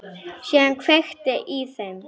Síðan var kveikt í þeim.